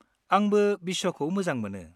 -आंबो बिस्वखौ मोजां मोनो।